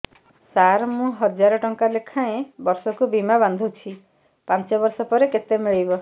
ସାର ମୁଁ ହଜାରେ ଟଂକା ଲେଖାଏଁ ବର୍ଷକୁ ବୀମା ବାଂଧୁଛି ପାଞ୍ଚ ବର୍ଷ ପରେ କେତେ ମିଳିବ